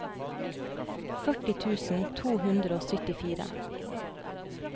førti tusen to hundre og syttifire